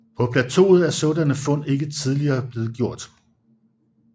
På plateauet er sådanne fund ikke hidtil blevet gjort